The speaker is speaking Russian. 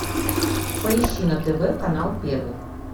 поищи на тв канал первый